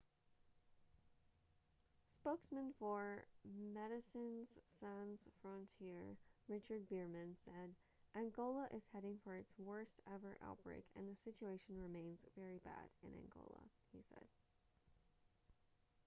spokesman for medecines sans frontiere richard veerman said angola is heading for its worst ever outbreak and the situation remains very bad in angola he said